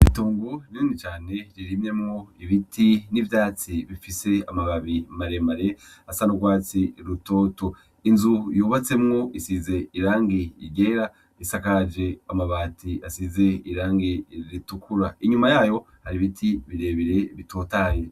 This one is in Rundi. Itongo rinini cane ririmyemwo ibiti n'ivyatsi bifise amababi maremare asa n'urwatsi rutoto, inzu yubatsemwo isize irangi ryere isakaje amabati asize irangi ritukura inyuma yayo hari ibiti birebire bitotahaye.